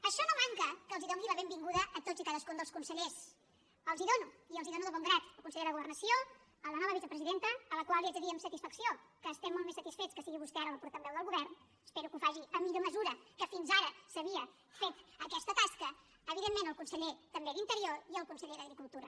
això no manca que els doni la benvinguda a tots i cadascun dels consellers els la dono i els la dono de bon grat al conseller de governació a la nova vicepresidenta a la qual li haig de dir amb satisfacció que estem molt més satisfets que sigui vostè ara la portaveu del govern espero que ho faci amb millor mesura que fins ara s’havia fet aquesta tasca evidentment al conseller també d’interior i al conseller d’agricultura